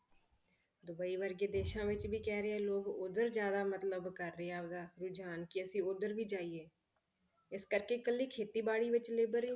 Dubai ਵਰਗੇ ਦੇਸਾਂ ਵਿੱਚ ਵੀ ਕਹਿ ਰਹੇ ਆ ਲੋਕ ਉੱਧਰ ਜ਼ਿਆਦਾ ਮਤਲਬ ਕਰ ਰਿਹਾ ਗਾ ਰੁਝਾਨ ਕਿ ਅਸੀਂ ਉੱਧਰ ਵੀ ਜਾਈਏ, ਇਸ ਕਰਕੇ ਇਕੱਲੀ ਖੇਤੀਬਾੜੀ ਵਿੱਚ labour ਹੀ